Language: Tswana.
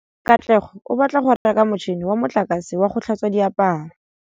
Katlego o batla go reka motšhine wa motlakase wa go tlhatswa diaparo.